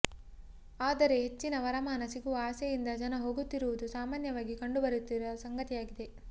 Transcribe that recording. ಆದರೆ ಹೆಚ್ಚಿನ ವರಮಾನ ಸಿಗುವ ಆಸೆಯಿಂದ ಜನ ಹೋಗುತ್ತಿರುವುದು ಸಾಮಾನ್ಯವಾಗಿ ಕಂಡು ಬರುತ್ತಿರುವ ಸಂಗತಿಯಾಗಿದೆ